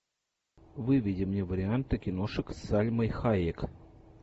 выведи мне варианты киношек с сальмой хайек